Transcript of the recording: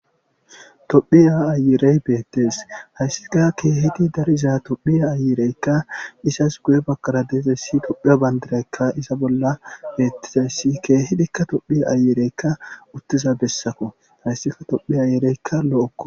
Tophiya ayirey betes , haysika kehid betiza tophiya ayireyka izas guye Bagara dizays tophiya bandray iza bolla betizays , keehidika tophiya ayirey lo'oko.